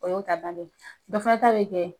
O y'o ta bannen ye, dɔ fana ta bɛ kɛ